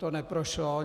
To neprošlo.